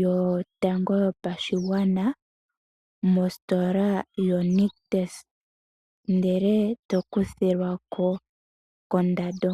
yotango yopashigwana mositola yo nictus ndele eto kuthilwako kondando.